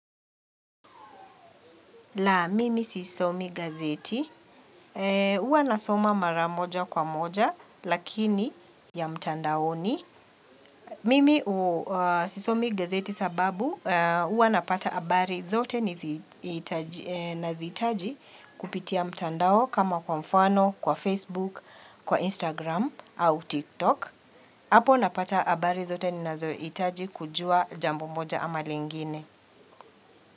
La, mimi sisomi gazeti. Huwa nasoma mara moja kwa moja, lakini ya mtandaoni. Mimi sisomi gazeti sababu, huwa napata habari zote nazihitaji kupitia mtandao kama kwa mfano, kwa Facebook, kwa Instagram, au TikTok. Hapo napata habari zote ninazohitaji kujua jambo moja ama lingine.